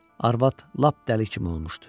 Arvad lap dəli kimi olmuşdu.